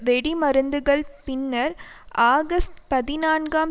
வெடிமருந்துகள் பின்னர் ஆகஸ்ட் பதினான்காம்